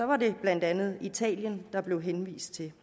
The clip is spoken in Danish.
var det blandt andet italien der blev henvist til